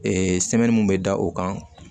sɛmɛni mun bɛ da o kan